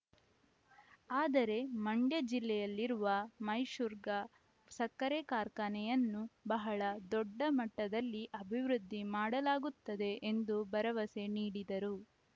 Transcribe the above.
ಆದರೆ ಮಂಡ್ಯ ಜಿಲ್ಲೆಯಲ್ಲಿರುವ ಮೈಶುರ್ಗ ಸಕ್ಕರೆ ಕಾರ್ಖಾನೆಯನ್ನು ಬಹಳ ದೊಡ್ಡ ಮಟ್ಟದಲ್ಲಿ ಅಭಿವೃದ್ಧಿ ಮಾಡಲಾಗುತ್ತದೆ ಎಂದು ಭರವಸೆ ನೀಡಿದರು